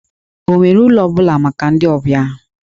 Ọ nwere ụlọ ọ bụla maka ndị ọbịa ahụ?